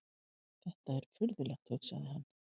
Þetta er furðulegt, hugsaði hann.